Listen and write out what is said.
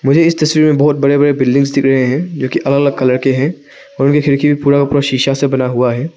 मुझे इस तस्वीर में बहोत बड़े बड़े बिल्डिंग्स दिख रहे हैं जो की अलग अलग कलर के हैं और इनमें खिड़की पूरा का पूरा शीशा से बना हुआ है।